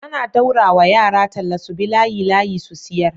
ana daura wa yara talla subi layi layi su siyar